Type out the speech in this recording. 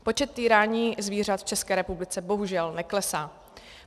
Počet týrání zvířat v České republice bohužel neklesá.